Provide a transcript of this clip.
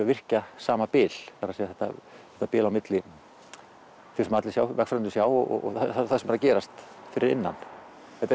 virkja sama bil það er að segja þetta bil milli þess sem allir vegfarendur sjá og þess sem er að gerast fyrir innan þetta